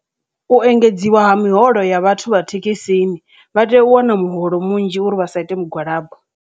U engedziwa ha miholo ya vhathu vha thekhisini, vha tea u wana muholo munzhi uri vhasa ite mugwalabo.